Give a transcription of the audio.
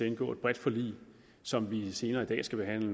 indgå et bredt forlig som vi senere i dag skal behandle